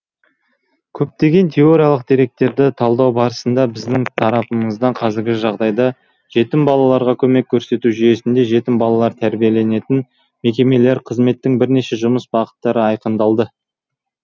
көптеген теориялық деректерді талдау барысында біздің тарапымыздан қазіргі жағдайда жетім балаларға көмек көрсету жүйесінде жетім балалар тәрбиеленетін мекемелер қызметінің бірнеше жұмыс бағыттары айқындалды